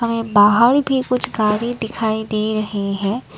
बाहर भी कुछ गाड़ी दिखाई दे रहे है।